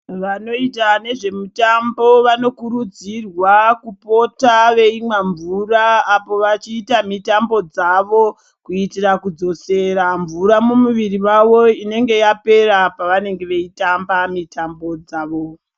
Vanoita nezvemitambo vanokurudzirwa kupota weimwa mvura apo wachiita mitambo dzavo kuitira kudzosera mvura mumuviri mawo inenge yapera pavanenge weitamba mitambo dzawo.